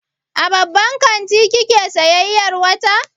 A babban kanti kike sayayyar wata?